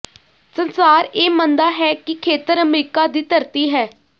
ਸੰਸਾਰ ਇਹ ਮੰਨਦਾ ਹੈ ਕਿ ਖੇਤਰ ਅਮਰੀਕਾ ਦੀ ਧਰਤੀ ਹੈ